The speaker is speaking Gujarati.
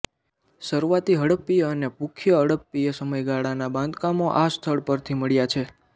શરૂઆતી હડપ્પીય અને પુખ્ય હડપ્પીય સમયગાળાના બાંધકામો આ સ્થળ પરથી મળ્યા છે